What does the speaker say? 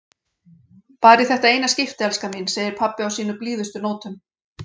Bara í þetta eina skipti, elskan mín, segir pabbi á sínum blíðustu nótum.